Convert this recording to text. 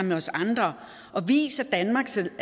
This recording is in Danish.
med os andre og vis at danmark selv